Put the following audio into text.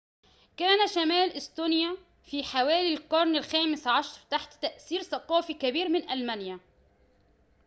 كان شمال إستونيا في حوالي القرن الخامس عشر تحت تأثير ثقافي كبير من ألمانيا